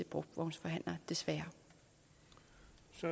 brugtvognsforhandler der